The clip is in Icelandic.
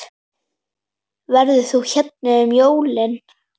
Verður þú hérna um jólin?